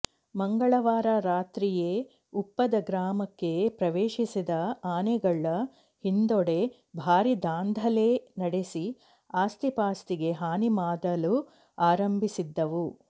ಮಂಗಳವಾರ ರಾತ್ರಿಯೇ ಉಪ್ಪದ ಗ್ರಾಮಕ್ಕೆ ಪ್ರವೇಶಿಸಿದ ಆನೆಗಳ ಹಿಂಡೋದು ಭಾರೀ ದಾಂಧಲೆ ನಡೆಸಿ ಆಸ್ತಿಪಾಸ್ತಿಗೆ ಹಾನಿ ಮಾದಳು ಆರಂಭಿಸಿದ್ದವು